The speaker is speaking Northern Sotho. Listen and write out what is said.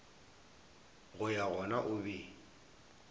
go ya gona o be